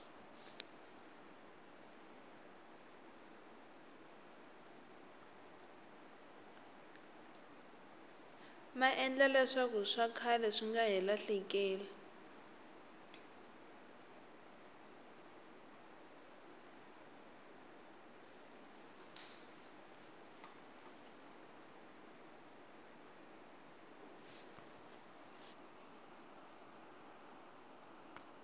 maendla leswakuswa khale swinga hi lahlekeli